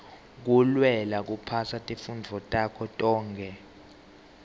kulwela kuphasa tifundvo takho tonkhe